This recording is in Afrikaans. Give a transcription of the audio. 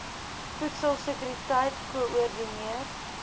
voedsel sekuriteit koördineer